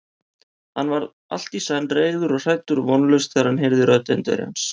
Hann varð allt í senn reiður og hræddur og vonlaus, þegar hann heyrði rödd Indverjans.